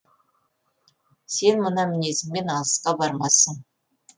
сен мына мінезіңмен алысқа бармассың